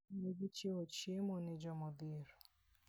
Negichiwo chiemo ne jomodhier.